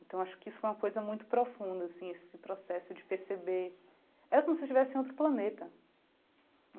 Então, acho que isso foi uma coisa muito profunda, assim, esse processo de perceber... Era como se eu estivesse em outro planeta.